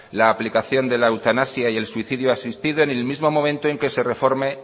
la aplicación de la eutanasia y el suicidio asistido en el mismo momento en que se reforme